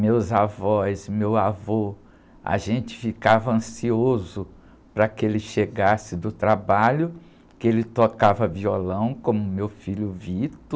Meus avós, meu avô, a gente ficava ansioso para que ele chegasse do trabalho, que ele tocava violão, como meu filho,